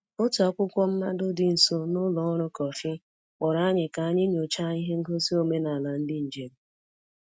Otu akwụkwọ mmado dị nso n’ụlọ nri kọfị kpọrọ anyị ka anyị nyochaa ihe ngosi omenala ndị njem.